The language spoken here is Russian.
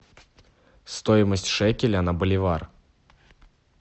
стоимость шекеля на боливар